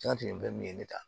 N ka tɛmɛ fɛn min ye ne ta